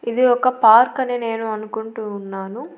ఇది ఒక పార్కు అని నేను అనుకుంటూ ఉన్నాను.